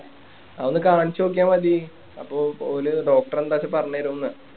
അത് ഒന്ന് കാണിച്ചു നോക്കിയാ മതി അപ്പൊ ഓല് doctor എന്താ വെച്ച പറഞ്ഞു തരും ന്ന്